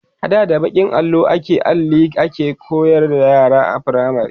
ada da bakin allo da Alli ake koyarwa yara a firamare